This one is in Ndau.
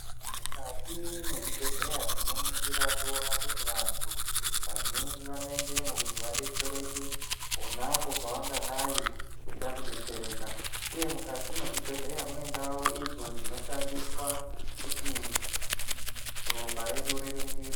Mukati mwezvibhedhleya tinoningira toona kuti vantu vazhinji vanoendemo kuti vabetsereke. Ponapo pavangadai veida kubetsereka, uye mukati mwezvibhedhleya mune ndau idzo dzinoshandiswa kuti ropa redu riringirwe.